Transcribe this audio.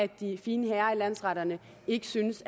de fine herrer i landsretterne ikke synes